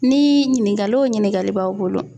Ni ɲininkali o ɲininkali b'aw bolo